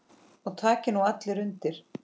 Og taki nú allir undir.